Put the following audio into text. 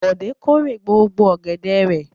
Bọ̀dé kórè gbogbo ọ̀gẹ̀dẹ̀ rẹ̀?